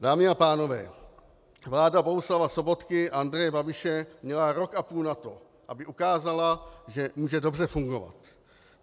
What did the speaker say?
Dámy a pánové, vláda Bohuslava Sobotky a Andreje Babiše měla rok a půl na to, aby ukázala, že může dobře fungovat.